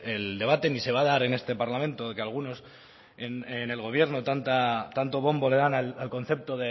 el debate ni se va a dar en este parlamento de que algunos en el gobierno tanto bombo le dan al concepto